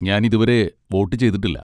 ഞാൻ ഇതുവരെ വോട്ട് ചെയ്തിട്ടില്ല.